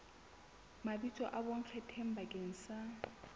mabitso a bonkgetheng bakeng sa